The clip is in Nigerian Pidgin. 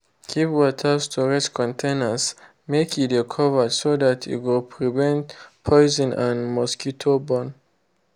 keep water storage containers make e de covered so that e go prevent poison and mosquito born.